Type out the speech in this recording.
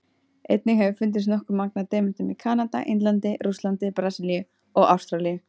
Einnig hefur fundist nokkuð magn af demöntum í Kanada, Indlandi, Rússlandi, Brasilíu og Ástralíu.